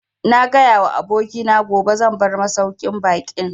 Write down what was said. Na gaya wa abokina gobe zan bar masauƙin baƙin